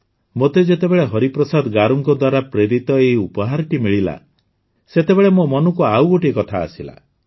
ମୋତେ ଯେତେବେଳେ ହରିପ୍ରସାଦ ଗାରୁଙ୍କ ଦ୍ୱାରା ପ୍ରେରିତ ଏହି ଉପହାରଟି ମିଳିଲା ସେତେବେଳେ ମୋ ମନକୁ ଆଉ ଗୋଟିଏ କଥା ଆସିଲା